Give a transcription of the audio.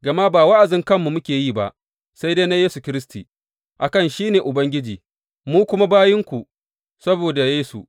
Gama ba wa’azin kanmu muke yi ba, sai dai na Yesu Kiristi, a kan shi ne Ubangiji, mu kuma bayinku saboda Yesu.